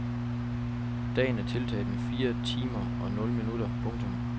Dagen er tiltaget med fire timer og nul minutter. punktum